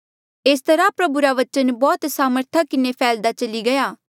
एस तरहा प्रभु रा बचन बौह्त सामर्था किन्हें फैह्ल्दा चली गया